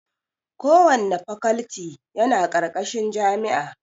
Kowanne fakalti yana ƙarƙashin jami'a